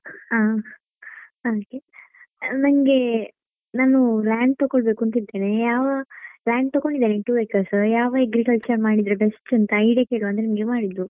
ಆ ಹಾಗೆ ನಂಗೆ ನಾನ್ land ತೊಕೊಳ್ಳಬೇಕು ಅಂತ ಇದ್ದೇನೆ ಯಾವ land ತಕೊಂಡಿದ್ದೇನೆ two acres ಯಾವ agriculture ಮಾಡಿದ್ರೆ best ಅಂತಾ idea ಕೇಳುವಾ ಅಂತ ನಿಂಗೆ ಮಾಡಿದ್ದು.